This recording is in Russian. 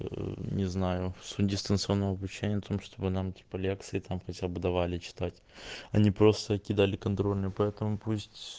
не знаю суть дистанционного обучения в том чтобы нам типа лекции там хотя бы давали читать а не просто кидали контрольную по этому пусть